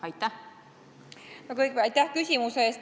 Aitäh küsimuse eest!